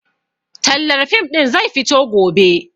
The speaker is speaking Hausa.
Tallar fim ɗin zai fito gobe